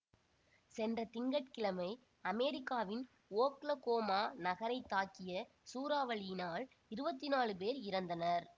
சென்ற திங்க கிழமை அமெரிக்காவின் ஓக்லகோமா நகரை தாக்கிய சூறாவளியினால் இருபத்தி நால் பேர் இறந்தனர்